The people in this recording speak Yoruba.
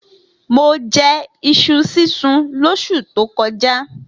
Mo je̩ is̩u sísun lós̩ù tó ko̩já